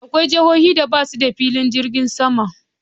Akwai jihohin da basu da filin jirgin sama.